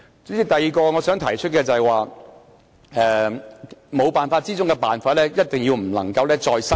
主席，我想提出的第二點，就是"沒辦法之中的辦法"，我們一定不能夠再失守。